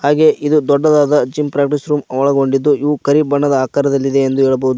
ಹಾಗೆ ಇದು ದೊಡ್ಡದಾದ ಜಿಮ್ ಪ್ರಾಕ್ಟೀಸ್ ರೂಮ್ ಒಳಗೊಂಡಿದ್ದು ಇವು ಕರಿ ಬಣ್ಣದ ಆಕಾರದಲ್ಲಿದೆ ಎಂದು ಹೇಳಬಹುದು.